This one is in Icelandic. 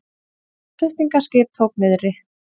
Flutningaskip tók niðri